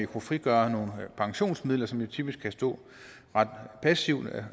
kunne frigøre nogle pensionsmidler som jo typisk kan stå ret passivt